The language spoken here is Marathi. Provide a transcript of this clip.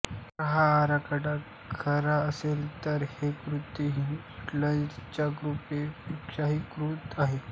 जर हा आकडा खरा असेल तर हे कृत्य हिटलरच्या कृत्यांपेक्षाही क्रूर आहे